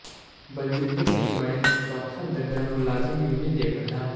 ਬਲਜਿੰਦਰ ਸਿੰਘ ਬਣੇ ਚੌਥਾ ਦਰਜਾ ਮੁਲਾਜ਼ਮ ਯੂਨੀਅਨ ਦੇ ਪ੍ਰਧਾਨ